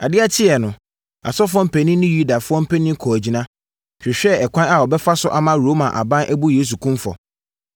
Adeɛ kyeeɛ no, asɔfoɔ mpanin ne Yudafoɔ mpanin kɔɔ agyina, hwehwɛɛ ɛkwan a wɔbɛfa so ama Roma aban abu Yesu kumfɔ.